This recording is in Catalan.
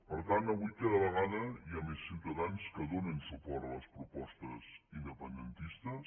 per tant avui cada vegada hi ha més ciutadans que donen suport a les propostes independentistes